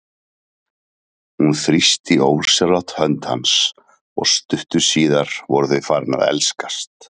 Hún þrýsti ósjálfrátt hönd hans og stuttu síðar voru þau farin að elskast.